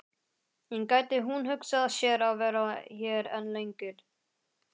En gæti hún hugsað sér að vera hér enn lengur?